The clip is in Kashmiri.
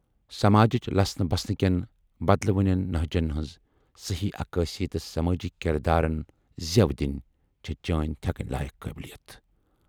سَماجِچ لَسنہٕ بَسنہٕ کٮ۪ن بَدلوٕنٮ۪ن نۂجن ہَٕنز صحٔی عکٲسی تہٕ سَمٲجی کِردارن زٮَ۪و دِنۍ چھے چٲنۍ تھٮ۪کٕنۍ لایَق قٲبِلیت۔